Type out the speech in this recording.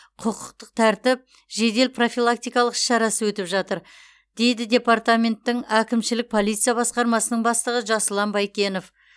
құқықтық тәртіп жедел профилактикалық іс шарасы өтіп жатыр дейді департаменттің әкімшілік полиция басқармасының бастығы жасұлан байкенов